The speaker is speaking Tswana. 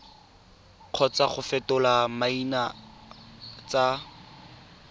kgotsa go fetola maina tsa